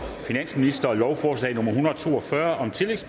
finansministeren lovforslag nummer l en hundrede og to og fyrre